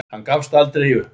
Hann gafst aldrei upp.